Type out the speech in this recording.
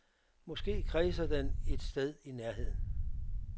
Måske kredser den et sted i nærheden.